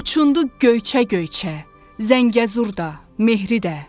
Uçundu Göyçə-Göyçə, Zəngəzur da, Mehri də.